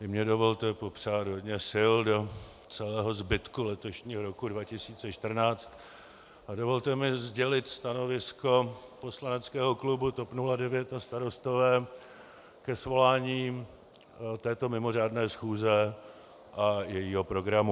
I mně dovolte popřát hodně sil do celého zbytku letošního roku 2014 a dovolte mi sdělit stanovisko poslaneckého klubu TOP 09 a Starostové ke svolání této mimořádné schůze a jejího programu.